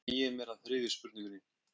Þá sný ég mér að þriðju spurningunni.